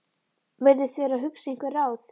Virðist vera að hugsa einhver ráð.